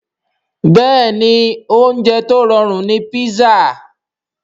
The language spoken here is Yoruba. Bẹ́ẹ̀ni oúnjẹ tó rọrùn ni písà